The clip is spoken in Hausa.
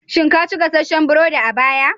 Shin ka ci gasasshen burodi a baya?